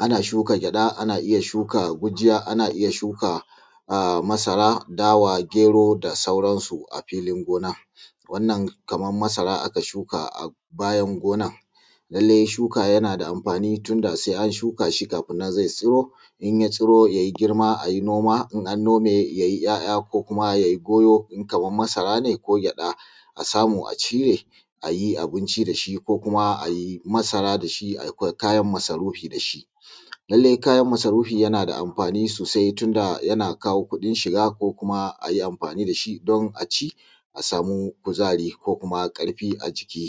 ana inya shuka gyada ana shuka gujiya ana inya shuka masara dawa gero da sauran su a filin gona wannan Kaman masara aka shuka a bayan gonan lallai shuka yanada amfani tunda sai an shukashi kafinnan zai tsiro inya tsiro yayi girma ayi noma in an nome yayi girma yayi ya yako kuma yayi goyo idan Kaman masara ne ko gyada a samu a cire ayi abinci dashi ko kuma ayi masara da shi ko ayi kayan masarufi dashi lallai kayan masarufi yanada amfani sosai tunda yana kawo kudin shiga ko kuma ayi amfani dashi dan aci a samu kuzari ko kuma karfi a jiki